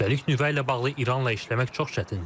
Üstəlik, nüvə ilə bağlı İranla işləmək çox çətindir.